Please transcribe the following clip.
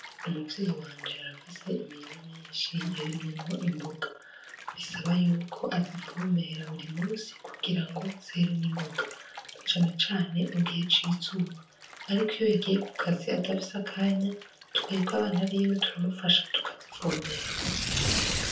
Umuvyeyi wanje arafise imirima myinshi yarimyemwo imboga isaba yuko azivomera buri munsi kugirango zere n'ingonga cane cane mugihe c'izuba ariko iyo yagiye ku kazi adafise akanya twebwe abana biwe turamufasha tukazivomera.